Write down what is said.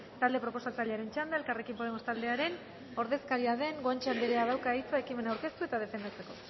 talde proposatzailearen txanda elkarrekin podemos taldearen ordezkaria den guanche andereak dauka hitza ekimena aurkeztu eta defendatzeko